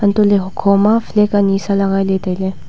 anto ley hukho ma flag ani sa legai ley tailey.